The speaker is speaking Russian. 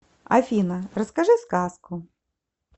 афина расскажи сказку